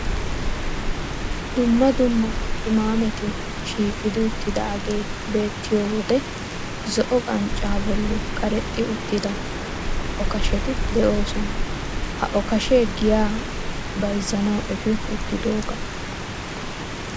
Dumma dumma qimaameti shiiqi uttidaagee beettiyo wode zo"o qanccaa bolli karexxi uttida okasheti de'oosonaa. Ha okashee giyaa bayzzanawu efi uttidoogaa.